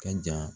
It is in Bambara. Ka ja